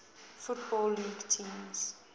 football league teams